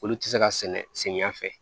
Olu tɛ se ka sɛnɛ samiya fɛ